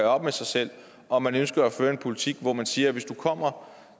op med sig selv om man ønsker at føre en politik hvor man siger at hvis du kommer